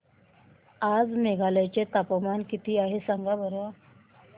आज मेघालय चे तापमान किती आहे सांगा बरं